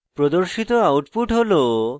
প্রদর্শিত output হল